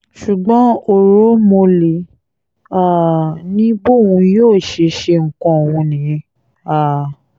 ṣùgbọ́n ooromhole um ni bóun yóò ṣe ṣe nǹkan òun nìyẹn um